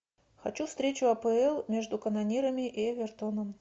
хочу встречу апл между канонирами и эвертоном